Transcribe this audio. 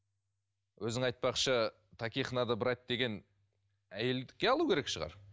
өзің айтпақшы таких надо брать деген әйелдікке алу керек шығар